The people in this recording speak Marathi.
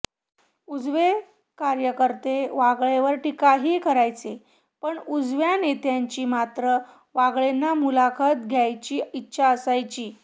उजवे कार्यकर्ते वागळेंवर टिकाही करायचे पण उजव्या नेत्यांची मात्र वागळेंना मुलाखत द्यायची इच्छा असायची